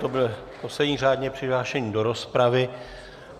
To byl poslední řádně přihlášený do rozpravy.